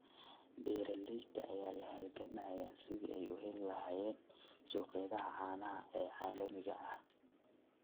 Beeralayda ayaa la halgamaya sidii ay u heli lahaayeen suuqyada caanaha ee caalamiga ah.